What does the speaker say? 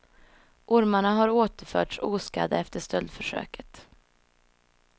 Ormarna har återförts oskadda efter stöldförsöket.